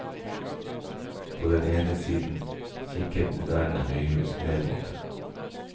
På den ene siden kikker moderne høyhus ned mot det.